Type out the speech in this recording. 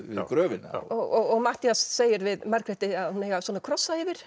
gröfina og Matthías segir við Margréti að hún eigi að krossa yfir